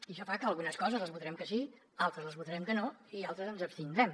i això fa que algunes coses les votarem que sí altres les votarem que no i en altres ens hi abstindrem